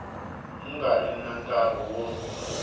nga ri na nkarhi wo